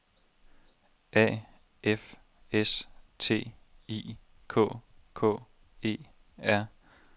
A F S T I K K E R